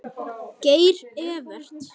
Geir Evert.